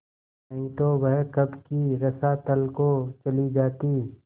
नहीं तो वह कब की रसातल को चली जाती